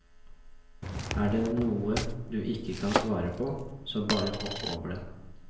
Er det noe du ikke kan svare på, så bare hopp over det.